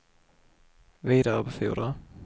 vidarebefordra